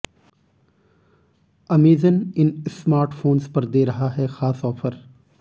Amazon इन smartphones पर दे रहा है खास ऑफर